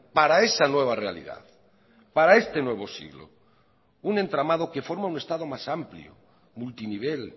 para esa nueva realidad para este nuevo siglo un entramado que forma un estado más amplio multinivel